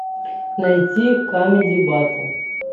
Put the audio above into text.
найти камеди баттл